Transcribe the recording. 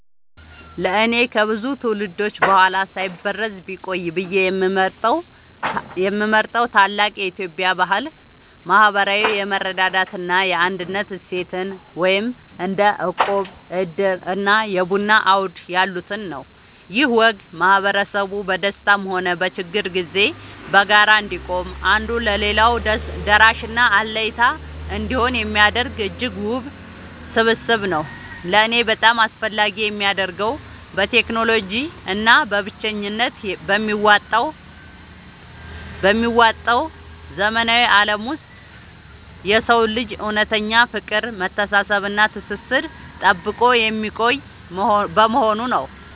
ለእኔ ከብዙ ትውልዶች በኋላ ሳይበረዝ ቢቆይ ብዬ የምመርጠው ታላቅ የኢትዮጵያ ባህል **ማህበራዊ የመረዳዳት እና የአንድነት እሴትን** (እንደ እቁብ፣ ዕድር እና የቡና አውድ ያሉትን) ነው። ይህ ወግ ማህበረሰቡ በደስታም ሆነ በችግር ጊዜ በጋራ እንዲቆም፣ አንዱ ለሌላው ደራሽና አለኝታ እንዲሆን የሚያደርግ እጅግ ውብ ስብስብ ነው። ለእኔ በጣም አስፈላጊ የሚያደርገው፣ በቴክኖሎጂ እና በብቸኝነት በሚዋጠው ዘመናዊ ዓለም ውስጥ የሰውን ልጅ እውነተኛ ፍቅር፣ መተሳሰብ እና ትስስር ጠብቆ የሚያቆይ በመሆኑ ነው።